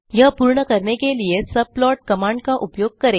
यह पूर्ण करने के लिए सबप्लॉट कमांड का उपयोग करें